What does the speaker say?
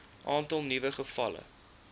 aantal nuwe gevalle